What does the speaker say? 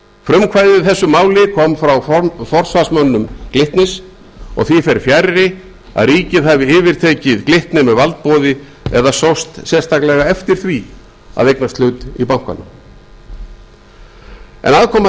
frumkvæðið í þessu máli kom frá forsvarsmönnum glitnis og því fer fjarri að ríkið hafi yfirtekið glitni með valdboði eða sóst sérstaklega eftir því að eignast hlut í bankanum aðkoma